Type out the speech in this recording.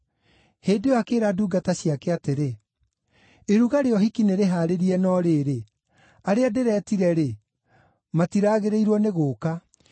“Hĩndĩ ĩyo akĩĩra ndungata ciake atĩrĩ, ‘Iruga rĩa ũhiki nĩrĩhaarĩrie no rĩrĩ, arĩa ndĩretire-rĩ, matiraagĩrĩirwo nĩ gũũka.